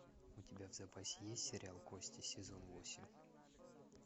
у тебя в запасе есть сериал кости сезон восемь